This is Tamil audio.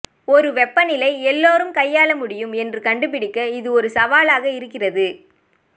ஒரு வெப்பநிலை எல்லோரும் கையாள முடியும் என்று கண்டுபிடிக்க இது ஒரு சவாலாக இருக்கிறது